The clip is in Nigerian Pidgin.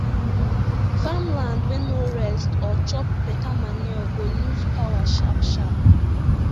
farmland wey no rest or chop beta manure go lose power sharp sharp